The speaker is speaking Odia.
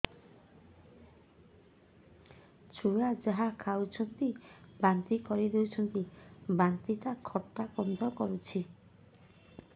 ଛୁଆ ଯାହା ଖାଉଛି ବାନ୍ତି କରିଦଉଛି ବାନ୍ତି ଟା ଖଟା ଗନ୍ଧ କରୁଛି